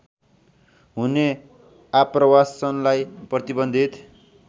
हुने आप्रवासनलाई प्रतिबन्धित